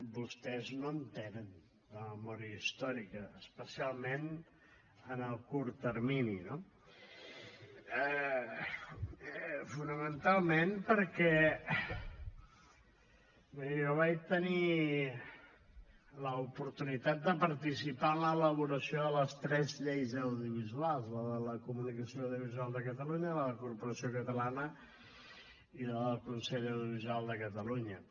vostès no en tenen de memòria històrica especialment en el curt termini no fonamentalment perquè miri jo vaig tenir l’oportunitat de participar en l’elaboració de les tres lleis audiovisuals la de la comunicació audiovisual de catalunya la de corporació catalana i la del consell de l’audiovisual de catalunya